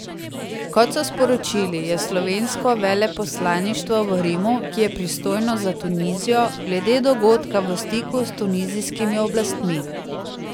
Kot so sporočili, je slovensko veleposlaništvo v Rimu, ki je pristojno za Tunizijo, glede dogodka v stiku s tunizijskimi oblastmi.